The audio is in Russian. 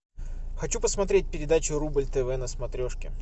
хочу посмотреть передачу рубль тв на смотрешке